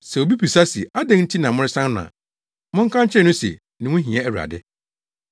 Sɛ obi bisa se ‘Adɛn nti na moresan no’ a, monka nkyerɛ no se, ‘Ne ho hia Awurade.’ ”